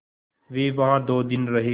वे वहाँ दो दिन रहे